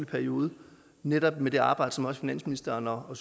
periode netop med det arbejde som også finansministeren og